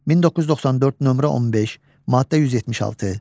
1994, nömrə 15, maddə 176.